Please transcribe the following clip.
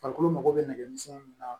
Farikolo mago bɛ nɛgɛmisɛnninw na